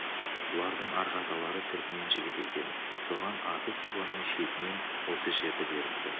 бұлардың арғы аталары түрікпен жігіті екен соған аты сибанның шетінен осы жерді беріпті